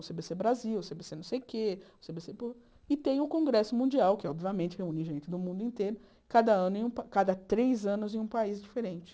O cê bê cê Brasil, o cê bê cê não sei o quê, o cê bê cê... E tem o Congresso Mundial, que obviamente reúne gente do mundo inteiro, cada ano em um pa cada três anos em um país diferente.